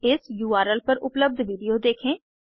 इस उर्ल पर उपलब्ध विडिओ देखें